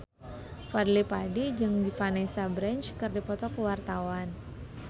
Fadly Padi jeung Vanessa Branch keur dipoto ku wartawan